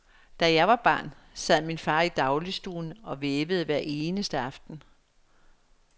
Da jeg var barn, sad min far i dagligstuen og vævede hver eneste aften.